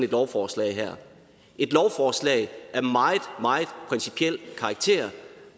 lovforslag her et lovforslag af meget meget principiel karakter